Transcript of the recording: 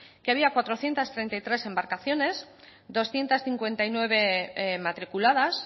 que había cuatrocientos treinta y tres embarcaciones doscientos cincuenta y nueve matriculadas